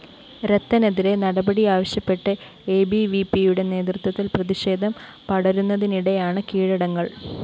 രത്തനെതിരെ നടപടിയാവശ്യപ്പെട്ട് എബിവിപിയുടെ നേതൃത്വത്തില്‍ പ്രതിഷേധം പടരുന്നതിനിടെയാണ് കീഴടങ്ങല്‍